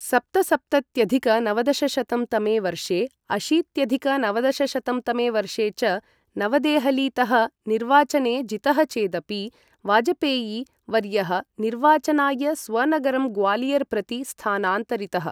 सप्तसप्तत्यधिक नवदशशतं तमे वर्षे अशीत्यधिक नवदशशतं तमे वर्षे च नवदेहलीतः निर्वाचने जितः चेदपि, वाजपेयी वर्यः निर्वाचनाय स्वनगरं ग्वालियर् प्रति स्थानान्तरितः।